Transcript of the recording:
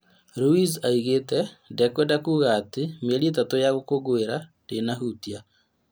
Ruiz oigĩte "ndikwenda kuuga atĩ mĩeri ĩtatũ ya gũkũngũĩra ndĩna hutia?